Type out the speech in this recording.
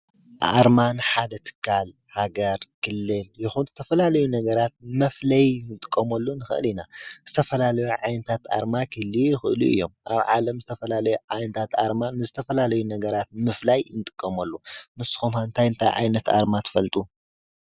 ኣርማን ሓደ ትካል ሃጋር ክልል ይዂድ ተፈላለዩ ነገራት መፍለይ ንንጥቆመሉ ንኽእን ኢና ዝተፈላለዩ ዓይንታት ኣርማ ክልየ ይኽእሉ እዮም ኣብ ዓለም ዝተፈላለዩ ዓይንታት ኣርማን ዝተፈላለዩ ነገራት ምፍላይ ይንጥቆሞሉ ንስኾምሓንታይ እንታይ ዓይነት ኣርማ ትፈልጡ?